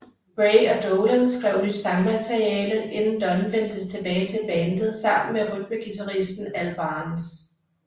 Bray og Dolan skrev nyt sangmateriale inden Dunn vendte tilbage til bandet sammen med rytmeguitaristen Al Barnes